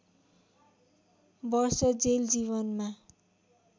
वर्ष जेल जीवनमा